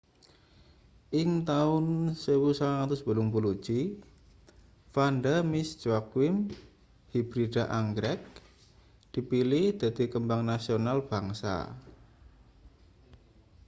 ing taun 1981 vanda miss joaquim hibrida anggrek dipilih dadi kembang nasional bangsa